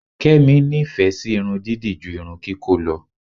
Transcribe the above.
Kẹ́mi nífẹ̀ẹ́ sí irun dídì ju irun kíkó lọ.